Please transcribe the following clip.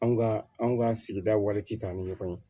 Anw ka anw ka sigida wari ti taa ni ɲɔgɔn ye